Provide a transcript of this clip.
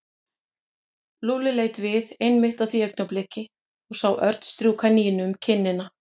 Lúlli leit við einmitt á því augnabliki og sá Örn strjúka Nínu um kinnina.